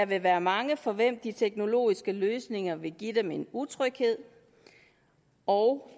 vil være mange for hvem de teknologiske løsninger vil give dem en utryghed og